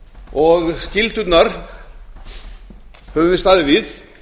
skyldurnar höfum við staðið við